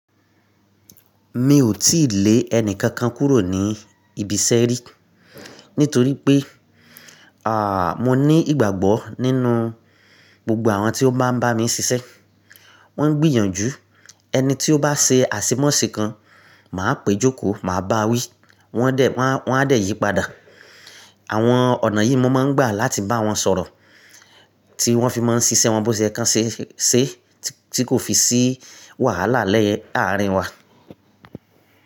Mi ò tíì lé ẹni kankan kúrò ní ibi iṣẹ́ rí, nítorí pé, à, mo ní ìgbàgbọ́ nínú gbogbo àwọn tí ó maá ń bá mi ṣiṣẹ́. Wọ́n ń gbìyànjú. Ẹni tí ó bá ṣe àṣemọ́ṣẹ́ kan, màá péjọkò, màá báa wí. Wọ́n á dẹ̀ yípadà. Àwọn ọ̀nà yìí mo máa ń gbà láti bá wọn sọ̀rọ̀ tí wọ́n fi máa ń ṣiṣẹ́ wọn bó ṣe yẹ́ kan ṣẹ́ ṣẹ́ tí kò fi sí wàhálà lẹ́ẹ̀ àárín wa.